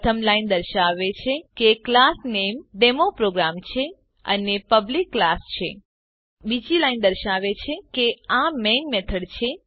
પ્રથમ લાઈન દર્શાવે છે કે ક્લાસ નેમ ડેમોપ્રોગ્રામ છે અને તે પબ્લિક ક્લાસ છે બીજી લાઈન દર્શાવે છે કે આ મેઇન મેથોડ છે